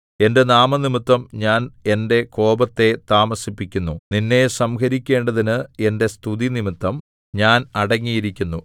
എന്റെ നാമംനിമിത്തം ഞാൻ എന്റെ കോപത്തെ താമസിപ്പിക്കുന്നു നിന്നെ സംഹരിക്കേണ്ടതിന് എന്റെ സ്തുതി നിമിത്തം ഞാൻ അടങ്ങിയിരിക്കുന്നു